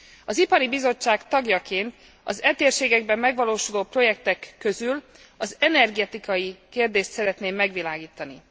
Az Ipari Bizottság tagjaként az e térségekben megvalósuló projektek közül az energetikai kérdést szeretném megvilágítani.